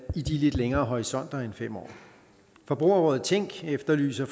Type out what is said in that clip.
i de lidt længere horisonter end fem år forbrugerrådet tænk efterlyser